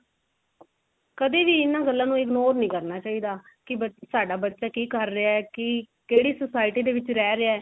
ਕਦੇ ਵੀ ਇਹਨਾਂ ਗੱਲਾਂ ਨੂੰ ignore ਨਹੀਂ ਕਰਨਾ ਚਾਹਿਦਾ ਕੀ ਬੱ ਸਾਡਾ ਬੱਚਾ ਕੀ ਕਰ ਰਿਹਾ ਕੀ ਕਿਹੜੀ society ਦੇ ਵਿੱਚ ਰਿਹ ਰਿਹਾ